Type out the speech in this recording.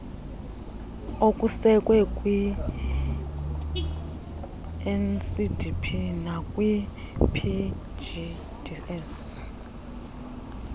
okusekwe kwinsdp nakwipgds